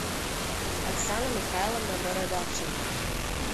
оксана михайловна бородавченко